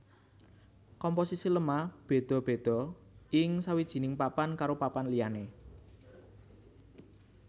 Komposisi lemah béda béda ing sawijining papan karo papan liyané